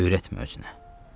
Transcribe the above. Öyrətmə özünə.